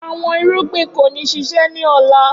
Awọn irugbin ko ni ṣiṣẹ ni ọla